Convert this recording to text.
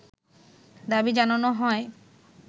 দাবি জানানো হয়